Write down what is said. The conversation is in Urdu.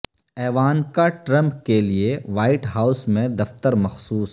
ایوانکا ٹرمپ کے لیے وائٹ ہاوس میں دفتر مخصوص